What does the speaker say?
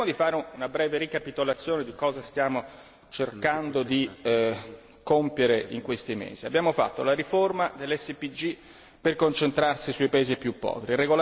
Cerchiamo di fare una breve ricapitolazione di cosa stiamo cercando di compiere in questi mesi. Abbiamo fatto la riforma dell'SPG per concentrarci sui paesi più poveri.